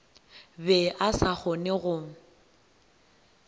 be a sa kgone go